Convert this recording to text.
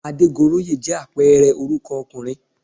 Adégoróyè jẹ́ àpẹẹrẹ orúkọ ọkùnrin